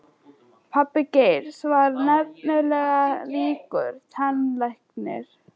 Pabbi Geirs var nefnilega ríkur tannlæknir.